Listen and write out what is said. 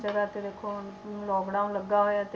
ਜਗ੍ਹਾ ਤਾਂ ਦੇਖੋ ਹੁਣ lockdown ਲੱਗਾ ਹੋਇਆ ਤੇ